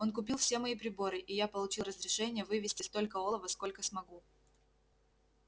он купил все мои приборы и я получил разрешение вывезти столько олова сколько смогу